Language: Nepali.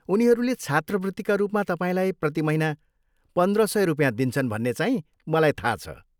उनीहरूले छात्रवृत्तिका रूपमा तपाईँलाई प्रति महिना पन्द्र सय रुपियाँ दिन्छन् भन्ने चाहिँ मलाई थाहा छ।